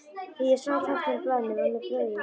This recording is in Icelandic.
Þegar ég sá táknin á blaðinu var mér brugðið.